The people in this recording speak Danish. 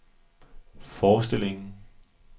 forestillingen